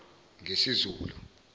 ngesizulu